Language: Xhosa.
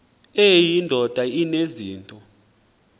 eyi ndoda enezinto